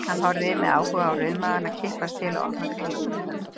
Hann horfði með áhuga á rauðmagana kippast til og opna kringlótta munnana.